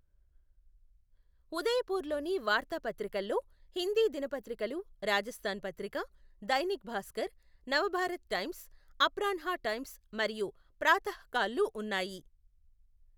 ఉదయపూర్లోని వార్తాపత్రికల్లో హిందీ దినపత్రికలు రాజస్థాన్ పత్రిక, దైనిక్ భాస్కర్, నవభారత్ టైమ్స్, అప్రాన్హా టైమ్స్ మరియు ప్రాతహ్కాల్లు ఉన్నాయి.